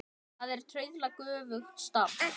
Það er trauðla göfugt starf.